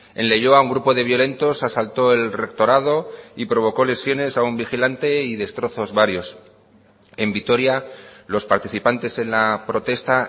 en leioa un grupo de violentos asaltó el rectorado y provocó lesiones a un vigilante y destrozos varios en vitoria los participantes en la protesta